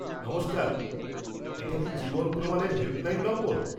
নমস্কার, এটা কি জীবন প্রমাণ-এর হেল্পলাইন নম্বর?